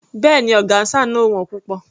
Béèni, ọgáńsà náà ò wón púpọ̀.